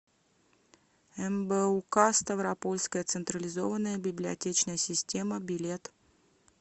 мбук ставропольская централизованная библиотечная система билет